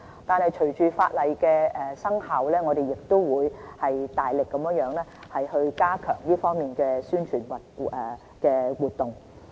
但是，隨着法例生效，我們亦會大力加強這方面的宣傳活動。